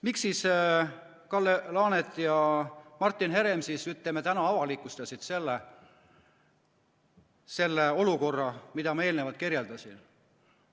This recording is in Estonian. Miks Kalle Laanet ja Martin Herem täna avalikustasid selle olukorra, mida ma praegu kirjeldasin?